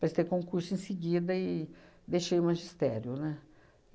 Prestei concurso em seguida e deixei o magistério, né?